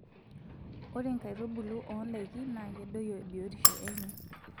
Ore nkaitubulu oondakin naa kedoyio biyotisho enye.